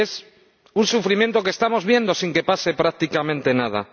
Y es un sufrimiento que estamos viendo, sin que pase prácticamente nada.